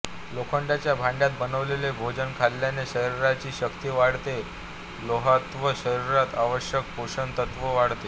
लोखंडाच्या भांड्यात बनवलेले भोजन खाल्ल्याने शरीराची शक्ती वाढते लोहतत्त्व शरीरात आवश्यक पोषण तत्त्व वाढवते